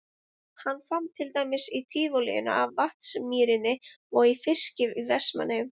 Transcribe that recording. Hann vann til dæmis í Tívolíinu í Vatnsmýrinni og í fiski í Vestmannaeyjum.